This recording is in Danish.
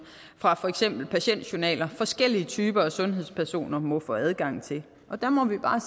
fra for eksempel patientjournaler forskellige typer af sundhedspersoner må få adgang til og der må vi bare